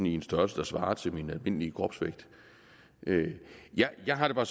en størrelse der svarer til min almindelige kropsvægt jeg har det bare